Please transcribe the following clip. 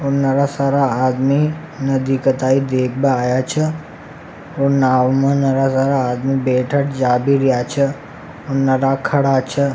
और नारा सारा आदमी नदी का थाई देखने आया छह और नाव में नैरा सारा आदमी बैठे जावे रिया छ और नैरा खड़ा छ।